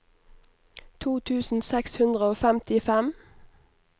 to tusen seks hundre og femtifem